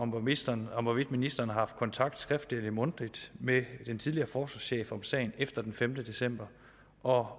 ministeren om hvorvidt ministeren har haft kontakt skriftligt eller mundtligt med den tidligere forsvarschef om sagen efter den femte december og